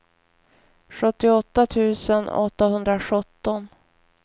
sjuttioåtta tusen åttahundrasjutton